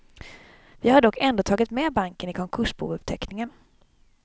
Vi har dock ändå tagit med banken i konkursbouppteckningen.